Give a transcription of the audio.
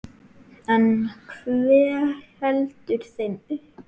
En hver heldur þeim uppi?